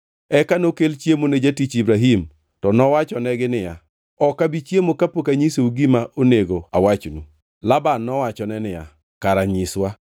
Eka nokel chiemo ne jatich Ibrahim to nowachonegi niya, “Ok abi chiemo kapok anyisou gima onego awachnu.” Laban nowachone niya, “Kara nyiswa.”